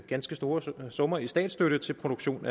ganske store summer i statsstøtte til produktion